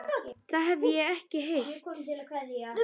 Það hef ég ekki heyrt.